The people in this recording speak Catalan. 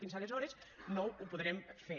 fins aleshores no ho podrem fer